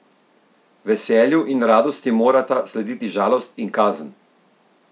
Veselju in radosti morata slediti žalost in kazen!